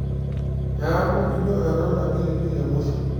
neeku ijo ena iltagiligil le musho.